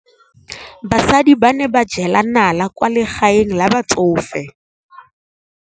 Basadi ba ne ba jela nala kwaa legaeng la batsofe.